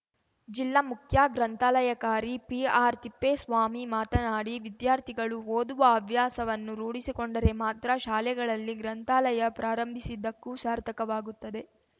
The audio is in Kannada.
ಜಿಲ್ಲಾ ಮುಖ್ಯ ಗ್ರಂಥಾಲಯಾಕಾರಿ ಪಿಆರ್‌ತಿಪ್ಪೇಸ್ವಾಮಿ ಮಾತನಾಡಿ ವಿದ್ಯಾರ್ಥಿಗಳು ಓದುವ ಹವ್ಯಾಸವನ್ನು ರೂಡಿಸಿಕೊಂಡರೆ ಮಾತ್ರ ಶಾಲೆಗಳಲ್ಲಿ ಗ್ರಂಥಾಲಯ ಪ್ರಾರಂಭಿಸಿದ್ದಕ್ಕೂ ಸಾರ್ಥಕವಾಗುತ್ತದೆ